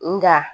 Nga